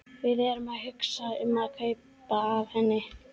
Við erum að hugsa um að kaupa af henni.